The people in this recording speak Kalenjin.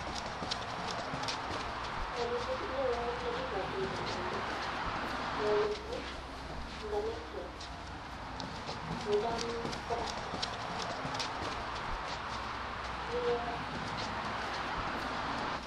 Kainet neo nekigochin kandoindet neo miisng en kaniset kocham ko pastor kiguren pastor